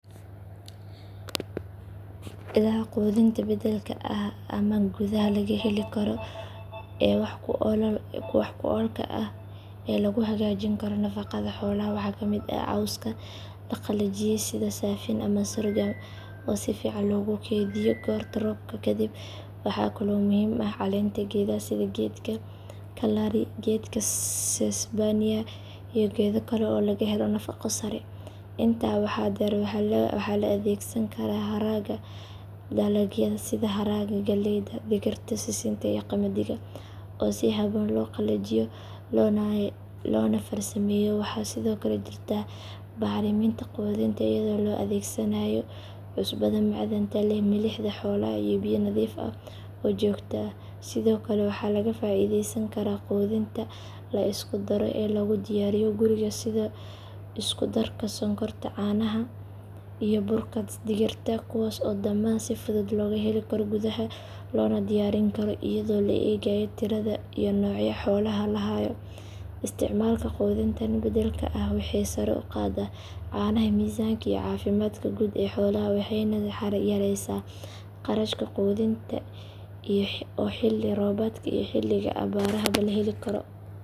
Ilaha quudinta beddelka ah ama gudaha laga heli karo ee wax ku oolka ah ee lagu hagaajin karo nafaqada xoolaha waxaa ka mid ah cawska la qalajiyay sida saafiin ama sorghum oo si fiican loogu keydiyo goorta roobka kadib. Waxaa kale oo muhiim ah caleenta geedaha sida geedka kalari, geedka sesbania iyo geedo kale oo laga helo nafaqo sare. Intaa waxaa dheer waxaa la adeegsan karaa haraaga dalagyada sida haraaga galleyda, digirta, sisinta iyo qamadiga oo si habboon loo qalajiyo loona farsameeyo. Waxaa sidoo kale jirta bacriminta quudinta iyadoo la adeegsanayo cusbada macdanta leh, milixda xoolaha iyo biyo nadiif ah oo joogto ah. Sidoo kale waxaa laga faa’iidaysan karaa quudinta la isku daro ee lagu diyaariyo guriga sida isku darka sonkorta caanaha iyo burka digirta. Kuwaas oo dhammaan si fudud looga heli karo gudaha loona diyaarin karo iyadoo la eegayo tirada iyo nooca xoolaha la hayo. Isticmaalka quudintan beddelka ah waxay sare u qaadaa caanaha, miisaanka iyo caafimaadka guud ee xoolaha waxayna yaraysaa kharashka quudinta oo xilli roobaadka iyo xilliga abaarahaba la heli karo.